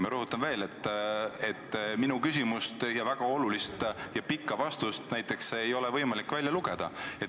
Ma rõhutan veel, et näiteks minu küsimust ning sellele antud pikka ja väga olulist vastust ei ole praegusest protokollist võimalik välja lugeda.